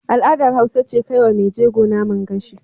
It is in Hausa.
Al'adar Hausa ce kaiwa Mai jego Naman gashi